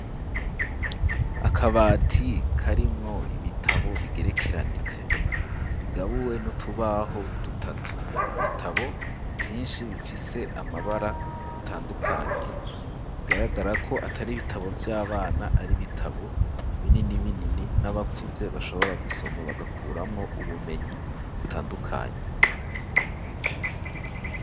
Akabati karimwo ibitabo bigerekeranije, bigabuwe n'utubaho dutatu ibitabo vyinshi bifise amabara atandukanye bigaragara ko atari bitabo vy'abana ari bitabo binini binini n'abakuze bashobora gusoma bagakuramwo ubumenyi butandukanye.